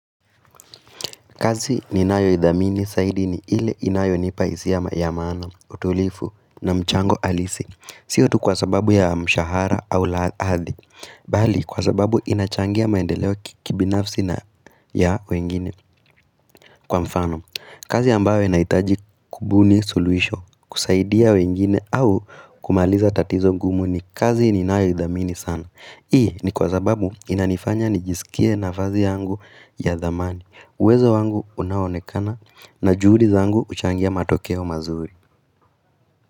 Kazi ni nayo idhamini saidi ni ile inayo nipaisi ya mayamaana, utulifu na mchango alisi. Siyo tu kwa sababu ya mshahara au laadi, bali kwa sababu inachangia maendeleo kibinafsi na ya wengine. Kwa mfano, kazi ambayo inaitaji kubuni suluhisho, kusaidia wengine au kumaliza tatizo gumu ni kazi ni nayo idhamini sana. Hii ni kwa sababu inanifanya nijisikie na fazi yangu ya dhamani. Uwezo wangu unaonekana na juhudi zangu huchangia matokeo mazuhi.